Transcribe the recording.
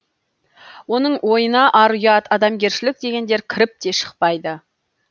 оның ойына ар ұят адамгершілік дегендер кіріп те шықпайды